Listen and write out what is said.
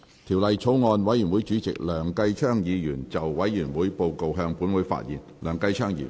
條例草案委員會主席梁繼昌議員就委員會報告，向本會發言。